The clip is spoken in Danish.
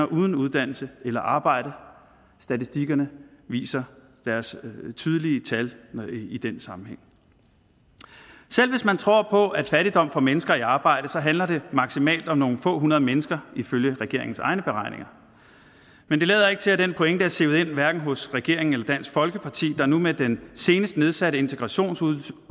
uden uddannelse eller arbejde statistikkerne viser deres tydelige tal i den sammenhæng selv hvis man tror på at fattigdom får mennesker i arbejde så handler det maksimalt om nogle få hundrede mennesker ifølge regeringens egne beregninger men det lader ikke til at den pointe er sivet ind hverken hos regeringen eller dansk folkeparti der med den senest nedsatte integrationsydelse